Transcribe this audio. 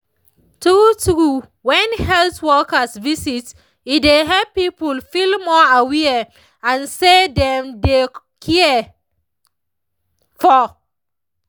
true true when health workers visit e dey help people feel more aware and say dem dey cared for